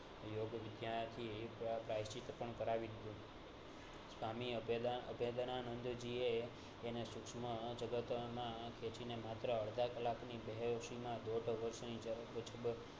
યોગવીદ્યાથી પ્રાયશ્ચિત પણ કરવી સ્વામી અભ્યદા~અભ્યદાનંદ જીયે તેનેટ શુંસમ જગતમાં ખેંચીને માત્ર અડધા કલાકની